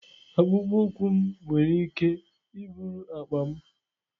Akpụkpọ ụkwụ m nwere ike iburu akpa m.